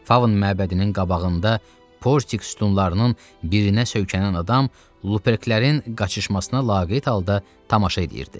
Faun məbədinin qabağında Portik sütunlarının birinə söykənən adam Luperklərin qaçışmasına laqeyd halda tamaşa edirdi.